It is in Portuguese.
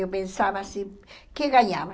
Eu pensava assim, que ganhava?